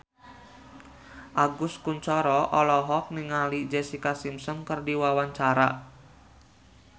Agus Kuncoro olohok ningali Jessica Simpson keur diwawancara